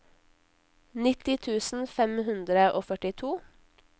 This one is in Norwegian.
nitti tusen fem hundre og førtito